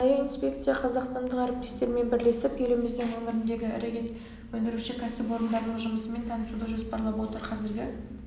арнайы инспекция қазақстандық әріптестерімен бірлесіп еліміздің өңіріндегі ірі ет өндіруші кәсіпорындардың жұмысымен танысуды жоспарлап отыр қазіргі